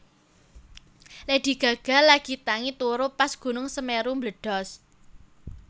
Lady Gaga lagi tangi turu pas gunung Semeru mbledhos